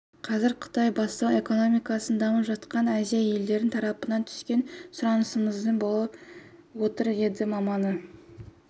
қазір қытай бастаған экономикасы дамып жатқан азия елдері тарапынан түскен сұранысмаңызды болып отыр деді маман